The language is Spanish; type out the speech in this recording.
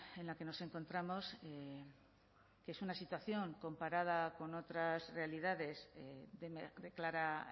en la que nos encontramos que es una situación comparada con otras realidades de clara